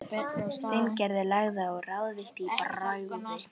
Steingerður lagði á, ráðvillt í bragði.